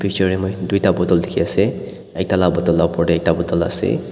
picture tae moi tuita bottle dikhiase ekta la bottle opor tae ekta bottle ase.